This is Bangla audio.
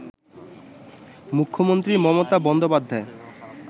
মুখ্যমন্ত্রী মমতা বন্দ্যোপাধ্যায়